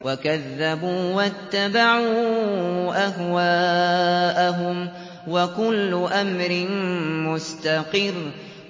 وَكَذَّبُوا وَاتَّبَعُوا أَهْوَاءَهُمْ ۚ وَكُلُّ أَمْرٍ مُّسْتَقِرٌّ